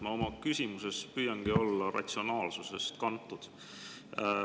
Ma oma küsimuses püüangi olla ratsionaalsusest kantud.